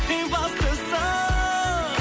ең бастысы